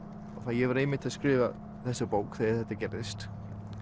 ég var einmitt að skrifa þessa bók þegar þetta gerðist